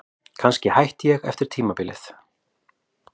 Kannski hætti ég eftir tímabilið.